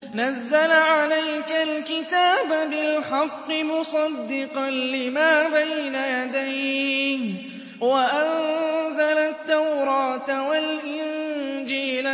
نَزَّلَ عَلَيْكَ الْكِتَابَ بِالْحَقِّ مُصَدِّقًا لِّمَا بَيْنَ يَدَيْهِ وَأَنزَلَ التَّوْرَاةَ وَالْإِنجِيلَ